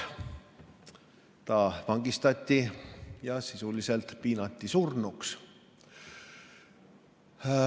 Ta vangistati ja sisuliselt piinati surnuks.